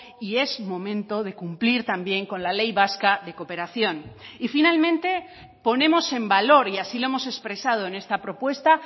y es momento de cumplir también con la ley vasca de cooperación y finalmente ponemos en valor y así lo hemos expresado en esta propuesta